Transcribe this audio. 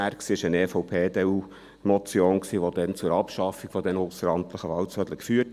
Damals war es eine EDU-/EVP-Motion die zur Abschaffung der ausseramtlichen Wahlzettel führte.